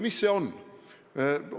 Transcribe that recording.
Mis see ikkagi on?